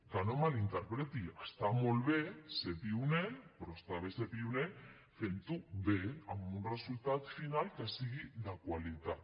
que no em malinterpreti està molt bé ser pioner però està bé ser pioner fent ho bé amb un resultat final que sigui de qualitat